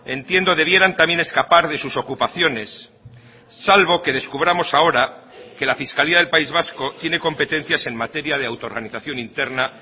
entiendo debieran también escapar de sus ocupaciones salvo que descubramos ahora que la fiscalía del país vasco tiene competencias en materia de auto organización interna